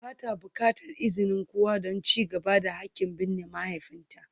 Ba ta buƙatar izinin kowa don ci gaba da haƙƙin binne mahaifinta.